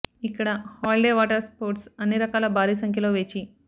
ఇక్కడ holiday water sports అన్ని రకాల భారీ సంఖ్యలో వేచి